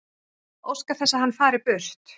Óska þess að hann fari burt.